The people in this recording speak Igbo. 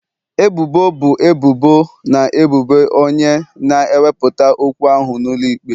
Ebubo bụ ebubo na ebubo onye na-ewepụta okwu ahụ n'ụlọ ikpe.